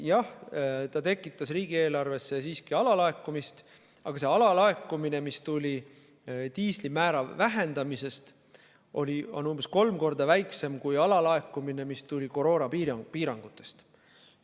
Jah, see tekitas riigieelarvesse siiski alalaekumist, aga see alalaekumine, mis tuli diisliaktsiisi vähendamisest, on umbes kolm korda väiksem kui alalaekumine, mis tuli koroonapiirangutest.